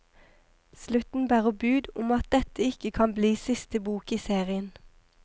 Slutten bærer bud om at dette ikke kan bli siste bok i serien.